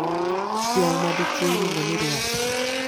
Dhiang madichuo iluongo ni ruath